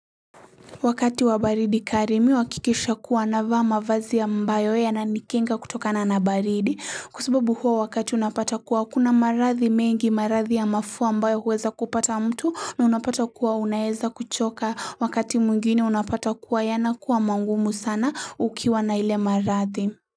Wakati wa baridi kali mimi uhakikisha kuwa navaa mavazi ambayo yananikinga kutokana na baridi Kwa sababu huo wakati unapata kuwa, kuna maradhi mengi, maradhi ya mafua ambayo huweza kupata mtu na unapata kuwa unaweza kuchoka, wakati mwingine unapata kuwa yanakuwa magumu sana ukiwa na ile maradhi.